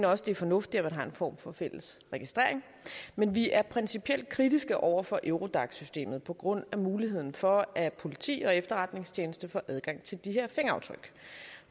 også det er fornuftigt at man har en form for fælles registrering men vi er principielt kritiske over for eurodac systemet på grund af muligheden for at politi og efterretningstjenester får adgang til de her fingeraftryk